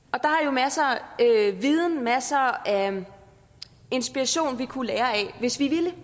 masser af viden masser af inspiration vi kunne lære af hvis vi ville